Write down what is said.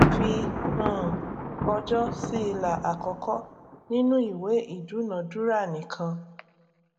fi um ọjọ sí ilà àkọkọ nínú ìwé ìdúnadúrà nìkan